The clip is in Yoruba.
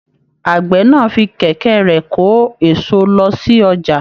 Àgbẹ náà fí kẹkẹ rẹ kò eso lọ sí ọjà.